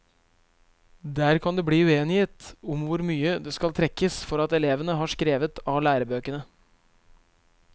Der kan det bli uenighet om hvor mye det skal trekkes for at elevene har skrevet av lærebøkene.